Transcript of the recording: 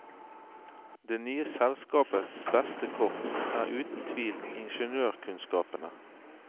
Det nye selskapets beste kort er uten tvil ingeniørkunnskapene.